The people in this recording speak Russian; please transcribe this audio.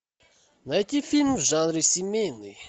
найти фильм в жанре семейный